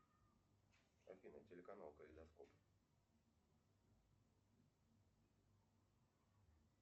афина телеканал калейдоскоп